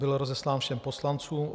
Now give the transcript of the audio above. Byl rozeslán všem poslancům.